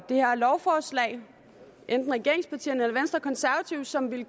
det her lovforslag enten regeringspartierne venstre eller konservative som ville